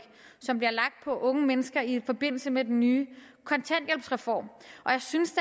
som bliver lagt på unge mennesker i forbindelse med den nye kontanthjælpsreform og jeg synes